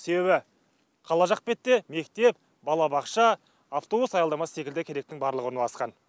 себебі қала жақ бетте мектеп балабақша автобус аялдамасы секілді керектің барлығы орналасқан